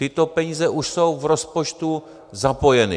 Tyto peníze už jsou v rozpočtu zapojeny.